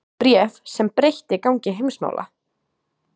Bréf sem breytti gangi heimsmála